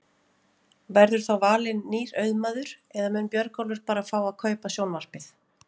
Verður þá valinn nýr auðmaður eða mun Björgólfur bara fá að kaupa sjónvarpið?